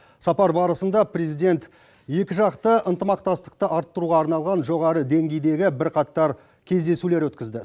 сапар барысында президент екіжақты ынтымақтастықты арттыруға арналған жоғары деңгейдегі бірқатар кездесулер өткізді